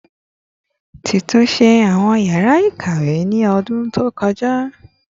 Ti tunṣe awọn yara ikawe ni ọdun to kọja